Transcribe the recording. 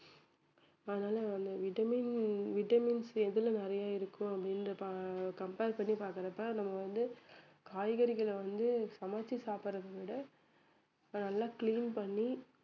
அதனால வந்து vitamin vitamin C எதுல நிறைய இருக்கும் அப்படின்னு பா~ compare பண்ணி பாக்குறப்ப நமக்கு வந்து காய்கறிகளை வந்து சமைச்சி சாப்பிடுவதை விட அஹ் நல்லா clean பண்ணி